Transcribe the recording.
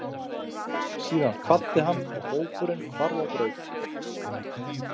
Síðan kvaddi hann og hópurinn hvarf á braut.